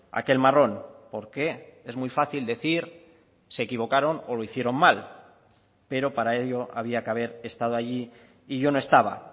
aquel marrón porque es muy fácil decir se equivocaron o lo hicieron mal pero para ello había que haber estado allí y yo no estaba